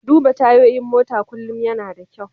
Duba tayoyin mota kullum yana da kyau.